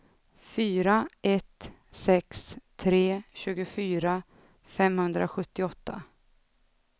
fyra ett sex tre tjugofyra femhundrasjuttioåtta